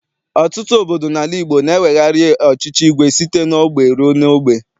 Ọtụtụ obodo n'ala Igbo na-ewegharị ọchịchị igwe site n'ogbe rue n'ogbe.